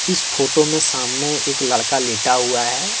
इस फोटो में सामने एक लड़का लेटा हुआ है।